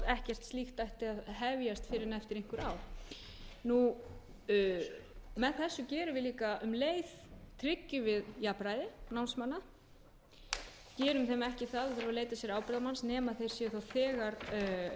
ekkert slíkt ætti að hefjast fyrr en eftir einhver ár með þessu erum við líka um leið að tryggja jafnræði námsmanna gerum þeim ekki það að þurfa að leita sér ábyrgðarmanns nema þeir þegar